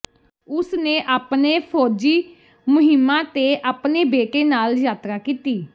ਉਸਨੇ ਆਪਣੇ ਫੌਜੀ ਮੁਹਿੰਮਾਂ ਤੇ ਆਪਣੇ ਬੇਟੇ ਨਾਲ ਯਾਤਰਾ ਕੀਤੀ